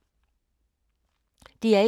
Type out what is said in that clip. DR1